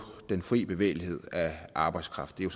den fri bevægelighed af arbejdskraft det er